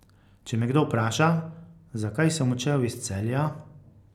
Če me kdo vpraša, zakaj sem odšel iz Celja ...